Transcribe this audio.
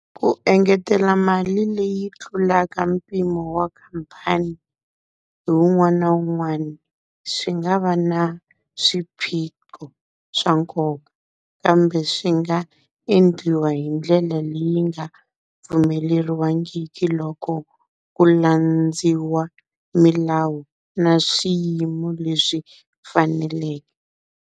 Ku engetela mali leyi tlulaka mpimo wa khampani hi wun'wana na wun'wana, swi nga va na swiphiqo swa nkoka. Kambe swi nga endliwa hi ndlela leyi nga pfumeleriwangiki loko ku landziwa milawu na swiyimo leswi faneleke.